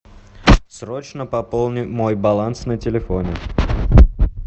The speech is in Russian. срочно пополни мой баланс на телефоне